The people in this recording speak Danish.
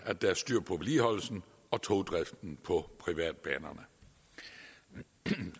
at der er styr på vedligeholdelsen og togdriften på privatbanerne